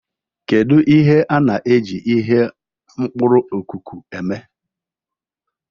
Kedu ihe a na-eji ihe mkpuru okuku eme?